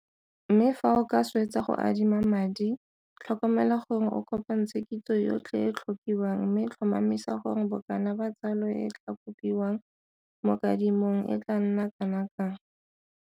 Mme fa o ka swetsa go adima madi, tlhokomela gore o kopantshe kitso yotlhe e e tlhokiwang mme tlhomamisa gore bokana ba tsalo e e tlaa kopiwang mo kadimong e tlaa nna kana kang.